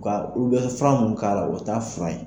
Ka u bɛ fan mun k' ala u ta fura ye.